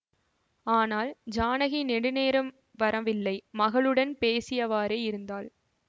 ஆனால் ஜானகி நெடு நேரம் வரவில்லை மகளுடன் பேசியவாறே இருந்தாள்